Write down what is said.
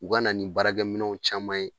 U ka na ni baarakɛminɛw caman ye